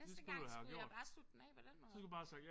Næste gang skulle jeg bare slutte den af på den måde